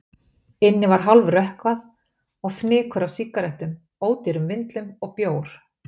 Inni var hálfrökkvað, og fnykur af sígarettum, ódýrum vindlum og bjór.